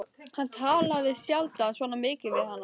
Hann talaði sjaldan svona mikið við hana.